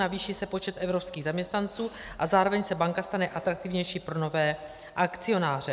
Navýší se počet evropských zaměstnanců, a zároveň se banka stane atraktivnější pro nové akcionáře.